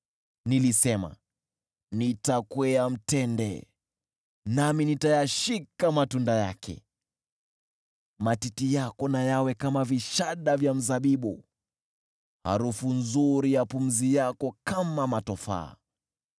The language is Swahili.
Nilisema, “Nitakwea mtende, nami nitayashika matunda yake.” Matiti yako na yawe kama vishada vya mzabibu, harufu nzuri ya pumzi yako kama matofaa,